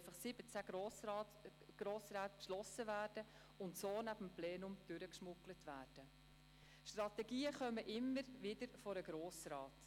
Wir haben bereits Erfahrungen gesammelt, zum Beispiel mit Prêles.